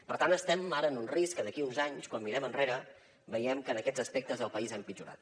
per tant estem ara en un risc que d’aquí uns anys quan mirem enrere veiem que en aquests aspectes el país ha empitjorat